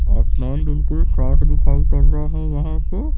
आसमान बिल्कुल साफ़ दिखाई पड़ रहा है यहां से--